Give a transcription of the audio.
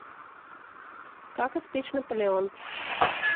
как испечь наполеон